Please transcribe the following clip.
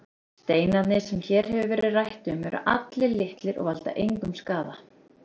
Steinarnir sem hér hefur verið rætt um eru allir litlir og valda engum skaða.